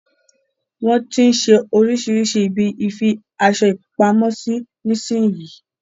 Wọn tí ń ṣe oríṣirísi ibi ìfi aṣo pamo sí nísin yí.